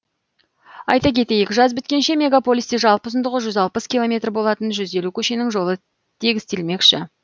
айта кетейік жаз біткенше мегаполисте жалпы ұзындығы жүз алпыс километр болатын жүз елу көшенің жолы тегістелмекші